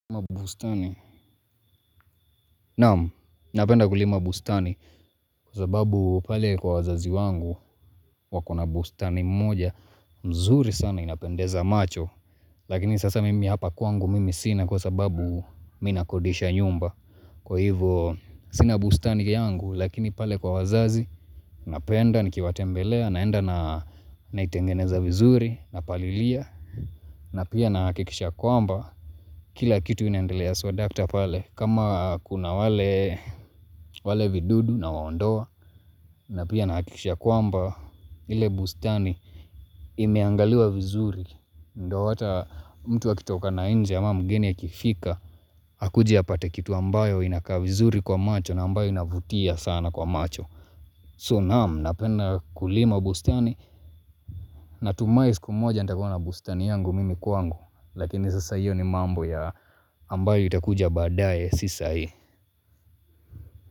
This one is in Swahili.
Mabustani, namu, napenda kulima bustani kwa sababu pale kwa wazazi wangu wakona bustani moja mzuri sana inapendeza macho. Lakini sasa mimi hapa kwangu mimi sina kwa sababu mi nakodisha nyumba. Kwa hivyo sina bustani yangu lakini pale kwa wazazi napenda, nikiwatembelea, naenda naitengeneza vizuri, napalilia. Na pia na hakikisha kwamba kila kitu inaendelea swadakta pale. Kama kuna wale vidudu nawaondoa. Na pia nahakikisha kwamba ile bustani imeangaliwa vizuri. Ndo ata mtu akitoka na nje ama mgeni akifika. Hakuje apate kitu ambayo inakaa vizuri kwa macho na ambayo inavutia sana kwa macho So naamu napenda kulima bustani natumai siku moja nitakuwa na bustani yangu mimi kwangu. Lakini sasa hiyo ni mambo ya ambayo itakuja baadaye si saa hii.